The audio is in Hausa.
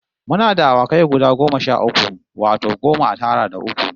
Muna da awakai guda goma sha uku, wato goma a tara da uku